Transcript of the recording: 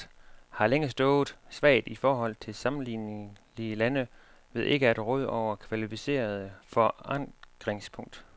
Landet har længe stået svagt i forhold til sammenlignelige lande ved ikke at råde over et kvalificeret forankringspunkt.